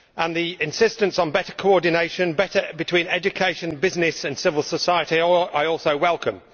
The insistence on better coordination between education, business and civil society is also welcome.